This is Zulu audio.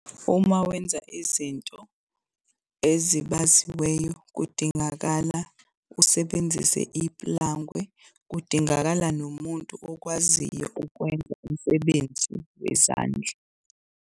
Uma wenza izinto ezibaziweyo kudingakala usebenzise iplangwe, kudingakala nomuntu okwaziyo ukwenza umsebenzi wezandla.